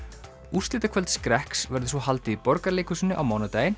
úrslitakvöld skrekks verður svo haldið í Borgarleikhúsinu á mánudaginn